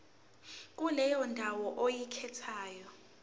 kuleyo ndawo oyikhethayo